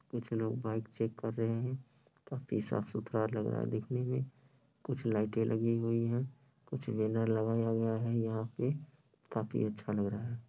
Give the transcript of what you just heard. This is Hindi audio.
कुछ लोग बाइक चेक कर रहे हैं काफी साफ सुथरा लग रहा है देखने में कुछ लाइटे लगी हुई है कुछ बैनर लगाया हुआ है यहाँ पे काफी अच्छा लग रहा है।